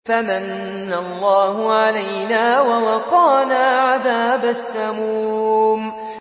فَمَنَّ اللَّهُ عَلَيْنَا وَوَقَانَا عَذَابَ السَّمُومِ